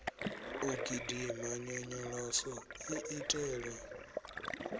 u gidima nyonyoloso i itelwa